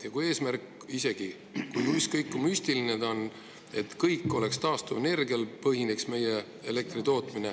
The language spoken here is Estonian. Ja eesmärk on müstiline: et kogu meie elektritootmine põhineks taastuvenergial.